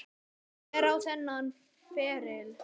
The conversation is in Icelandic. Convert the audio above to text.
Hver á þennan feril?